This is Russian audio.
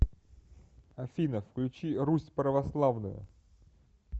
афина включи русь православную